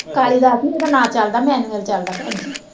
ਕਾਲੀਦਾਸ ਨੀ ਓਦਾ ਨਾਂ ਚੱਲਦਾ ਮੈਨੂਅਲ ਚੱਲਦਾ ਭੈਣ ਜੀ।